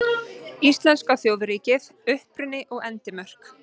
Íslenska þjóðríkið: Uppruni og endimörk.